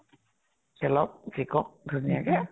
খেলক জিকক ধুনীয়াকে।